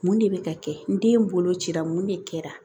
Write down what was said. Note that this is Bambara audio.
Mun de bɛ ka kɛ n den bolo cira mun de kɛra